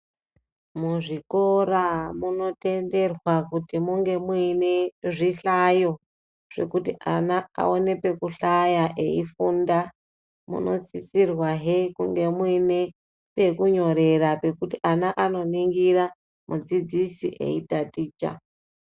Muzvikora munotenderwa kuti munge muine zvihlayo zvekuti ana awone pekuhlaya eifunda munosisirwa he kunge muine pekunyorera pekuti ana anoningira mudzidzisi eitaticha